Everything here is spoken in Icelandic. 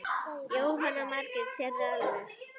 Jóhanna Margrét: Sérðu alveg?